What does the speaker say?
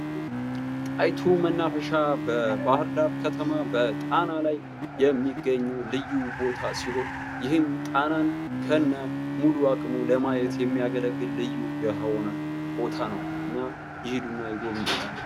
ጣይቱ መናፈሻ በባህርዳር ከተማ በጣና ላይ የሚገኝ ልዩ ቦታ ሲሆን፤ ይህም ጣናን ከነሙሉ አቅሙ ለማየት የሚያገለግል ልዩ የሆነ ቦታ ነዉ። እና ይሂዱ እና ይጎብኙ!